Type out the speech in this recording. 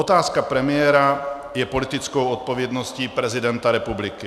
Otázka premiéra je politickou odpovědností prezidenta republiky.